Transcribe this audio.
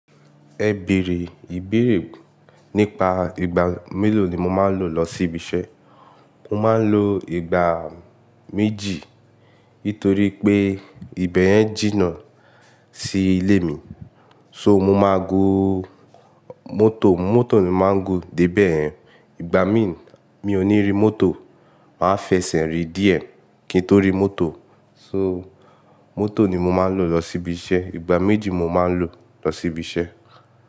Ẹ bèrè ìbéèrè nípa ìgbà mélòó ni mo máa ń lò lọ sí ibi iṣẹ́. Mo máa ń lo ìgbà méjì nítorí pé ìbẹ̀ yẹn jìnà sí ilé mi. So mo máa gun mọ́tò, mọ́tò ni màá ń go dé bẹ̀yẹn. Ìgbà mi ń, mi ò ní rí mọ́tò, màá fẹsẹ̀ rí díẹ̀ kí n tó rí mọ́tò. So mọ́tò ni mo máa ń lò lọ sí ibi iṣẹ́. Ìgbà méjì mo máa ń lò lọ sí ibi iṣẹ́